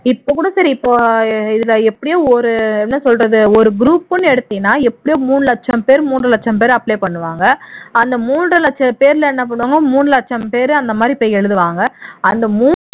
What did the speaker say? இப்போ கூட சரி இப்போ இதுல எப்படியோ ஒரு என்ன சொல்றது ஒரு group ன்னு எடுத்தீனா எப்படியோ மூணு லட்சம் பேர் மூண்றரை லட்சம் பேர் apply பண்ணுவாங்க அந்த மூண்றரை லட்சம் பேர்ல நம்ம என்ன மூணு லட்சம் பேர் அந்த மாதிரி போய் எழுதுவாங்க